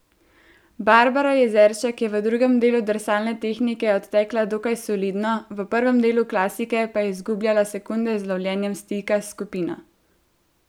Barbara Jezeršek je v drugem delu drsalne tehnike odtekla dokaj solidno, v prvem delu klasike pa je izgubljala sekunde z lovljenjem stika s skupino.